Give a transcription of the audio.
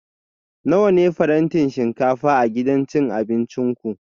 Nawa ne farantin shinkafa a gidan abincin ku?